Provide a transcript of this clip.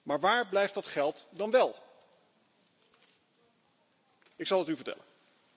Maar waar blijft dat geld dan wél? Ik zal het u vertellen.